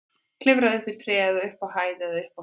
Klifraðu upp í tré eða upp á hæð eða upp á fjall.